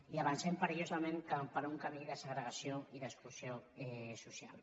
i avancem perillosament per un camí de segregació i d’exclusió social